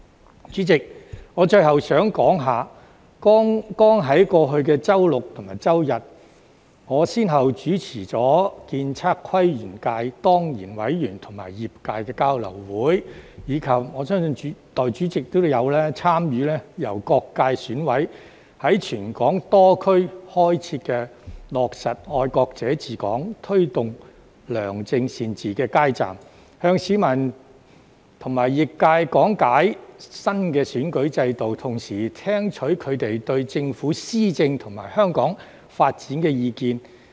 代理主席，我最後想說，在剛過去的周六及周日，我先後主持了建築、測量、都市規劃及園境界當然委員與業界的交流會，以及——我相信代理主席都有參與——由各界選委會委員在全港多區開設的"落實'愛國者治港'、推動良政善治"街站，向市民和業界講解新的選舉制度，同時聽取他們對政府施政及香港發展的意見。